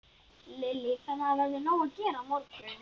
Lillý: Þannig að það verður nóg að gera á morgun?